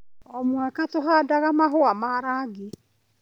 O mwaka, tũhandaga mahũa ma rangi.